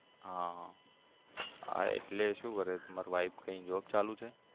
હા હા હા એટલે શું કરે છે તમાર wife કઈ job ચાલુ છે?